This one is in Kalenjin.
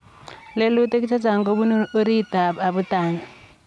lelutik chechang kobunuu oritiit ap abutaniik